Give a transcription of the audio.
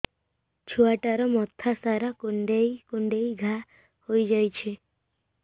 ଛୁଆଟାର ମଥା ସାରା କୁଂଡେଇ କୁଂଡେଇ ଘାଆ ହୋଇ ଯାଇଛି